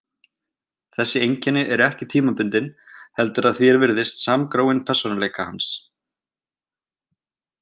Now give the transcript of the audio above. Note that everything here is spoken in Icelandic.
Þessi einkenni eru ekki tímabundin heldur að því er virðist samgróin persónuleika hans.